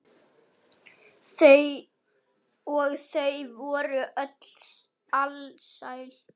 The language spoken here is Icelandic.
Og þau voru öll alsæl.